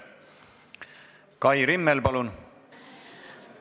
Kai Rimmel, palun!